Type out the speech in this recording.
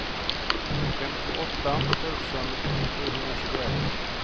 femtioåtta tusen sjuhundratjugoett